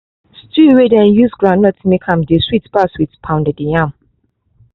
stew wey dey use groundnut make am dey sweet pas with pounded yam